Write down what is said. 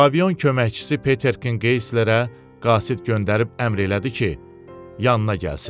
Pavion köməkçisi Peter Kinkeslerə qasid göndərib əmr elədi ki, yanına gəlsin.